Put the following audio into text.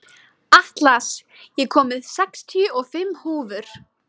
Atlas, ég kom með sextíu og fimm húfur!